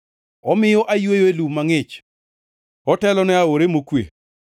Omiyo ayweyo e lum mangʼich, otelona e aore mokwe,